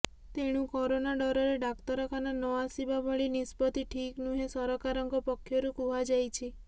ତେଣୁ କରୋନା ଡରରେ ଡାକ୍ତରଖାନା ନ ଆସିବା ଭଳି ନିଷ୍ପତ୍ତି ଠିକ୍ ନୁହେଁ ସରକାରଙ୍କ ପକ୍ଷରୁ କୁହାଯାଇଛି